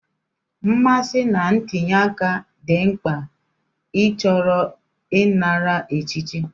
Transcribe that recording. Mmasị na ntinye aka dị mkpa ịchọrọ ịnara echichi.